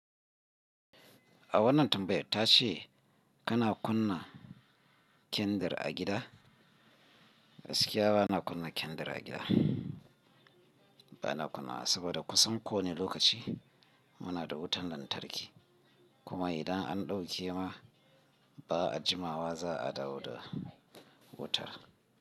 A wannan tambayar ta ce kana kunna kyandir a gida? Gaskiya bana kunna kyandir a gida. Bana kunnawa saboda kusan kowane lokaci muna da wutan lantarki. Kuma idan an dauke ma ba a jimawa za a dawo da wutar.